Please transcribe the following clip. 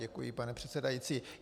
Děkuji, pane předsedající.